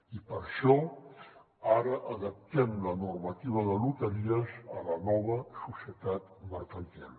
i per això ara adaptem la normativa de loteries a la nova societat mercantil